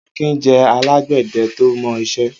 Akin jẹ̀ àlágbẹ̀dẹ̀ tó mọ iṣẹ̀